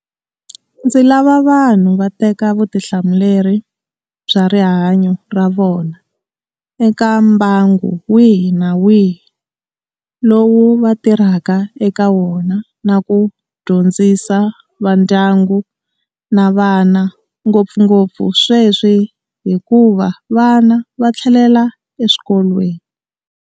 Ndzi lava vanhu va teka vutihlamuleri bya rihanyo ra vona eka mbangu wihi na wihi lowu va tirhaka eka wona na ku dyondzisa vandyangu na vana, ngopfungopfu sweswi hikuva vana va tlhelela eswikolweni.